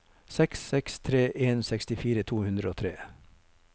seks seks tre en sekstifire to hundre og tre